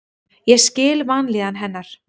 Ég skil vanlíðan hennar.